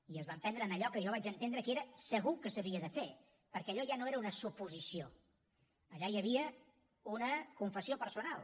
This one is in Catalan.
i es van prendre en allò que jo vaig entendre que era segur que s’havia de fer perquè allò ja no era una suposició allà hi havia una confessió personal